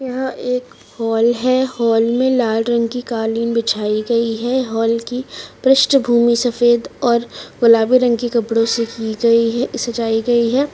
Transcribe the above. यह एक हाल है हाल मे लाल रंग की क़ालीन बिछाई गयी है हाल की पृष्टभूमि सफ़ेद और गुलाबी रंग के कपड़ो से की गयी है सजाई गई है।